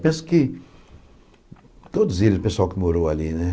Penso que todos eles, o pessoal que morou ali, né?